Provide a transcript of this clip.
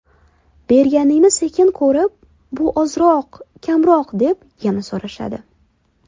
Berganingni sekin ko‘rib, bu ozroq, kamroq deb yana so‘rashadi.